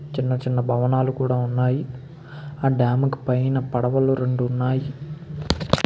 చిన్న చిన్న భవనాలు కూడా ఉన్నాయి ఆ డాం కి పైన పడవలు రెండు ఉన్నాయి --